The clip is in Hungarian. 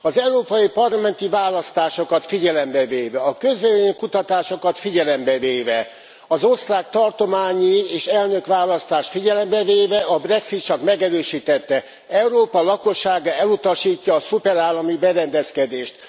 Az európai parlamenti választásokat figyelembe véve, a közvélemény kutatásokat figyelembe véve, az osztrák tartományi és elnökválasztást figyelembe véve a Brexit csak megerősítette, Európa lakossága elutasítja a szuperállami berendezkedést.